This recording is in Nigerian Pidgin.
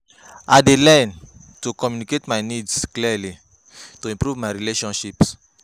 I dey learn to communicate my needs clearly to improve my relationships.